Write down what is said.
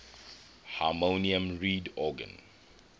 harmonium reed organ